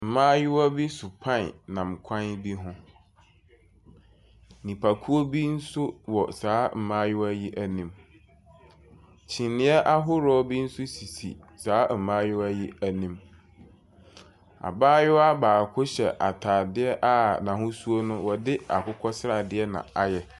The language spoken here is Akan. Mmaayewa bi so pan nam kwan bi ho. Nnipakuo bi nso wɔ saa mmayewa yi anim. Kyiniiɛ ahorow bi sisi saa mmaayewa yi anim. Abaayewa hyɛ ataade a n'ahosuo no yɛde akokɔsradeɛ na ayɛ.